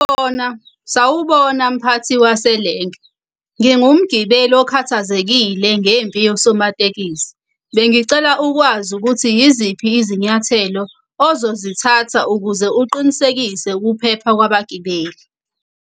Sawubona mphathi waselenke. Ngingumgibeli okhathazekile ngempi yosomatekisi. Bengicela ukwazi ukuthi yiziphi izinyathelo ozozithatha ukuze uqinisekise ukuphepha kwabagibeli.